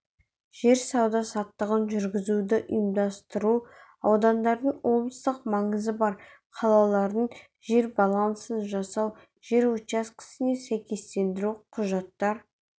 жер сауда-саттығын жүргізуді ұйымдастыру аудандардың облыстық маңызы бар қалалардың жер балансын жасау жер учаскесіне сәйкестендіру құжаттар